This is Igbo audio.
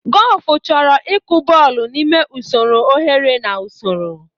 Gọlfụ chọrọ ịkụ bọl n'ime usoro oghere na usoro.